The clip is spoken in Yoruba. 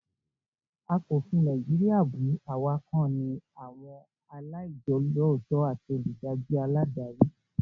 A kò fi Nàìjíríà bù, àwa kàn ní àwọn aláìjolótó àti òdájú aládarí